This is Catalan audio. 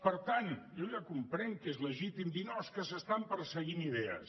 per tant jo ja comprenc que és legítim dir no és que s’estan perseguint idees